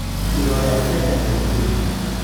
Ironda cia nda nĩ kĩĩ?